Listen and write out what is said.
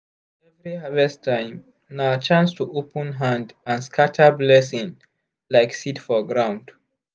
every harvest time na chance to open hand and scatter blessing like seed for ground.